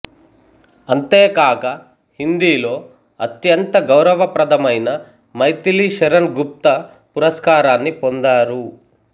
అంతేకాక హిందీలో అత్యంత గౌరవప్రదమైన మైథిలీ శరణ్ గుప్త పురస్కారాన్ని పొందారు